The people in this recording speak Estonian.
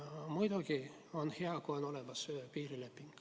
Muidugi on hea, kui on olemas piirileping.